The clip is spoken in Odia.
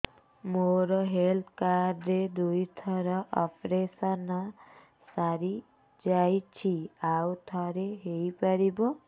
ମୋର ହେଲ୍ଥ କାର୍ଡ ରେ ଦୁଇ ଥର ଅପେରସନ ସାରି ଯାଇଛି ଆଉ ଥର ହେଇପାରିବ